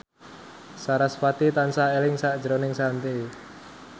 sarasvati tansah eling sakjroning Shanti